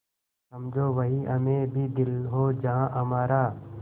समझो वहीं हमें भी दिल हो जहाँ हमारा